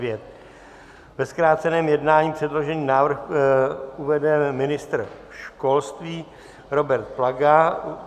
Ve zkráceném jednání předložený návrh uvede ministr školství Robert Plaga.